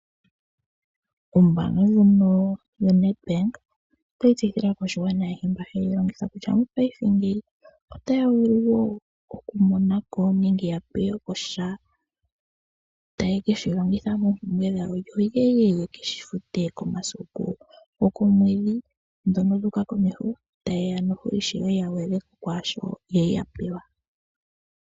Ombaanga ndjono yoNedbank otayi tseyithile aakwashigwana ayehe mboka haye yi longitha kutya mopaife otaya vulu wo okumona ko nenge ya pe we ko sha taye ke shi longitha moompumbwe dhawo yo ye ye ke shi fute komasiku gokoomwedhi ndhono dhu uka komeho taye ya ishewe ya gwedhe ko kwaa shoka ya li ya pewa.